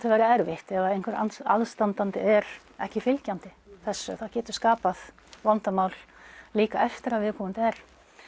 verið erfitt ef einhver aðstandandi er ekki fylgjandi þessu það getur skapað vandamál líka eftir að viðkomandi er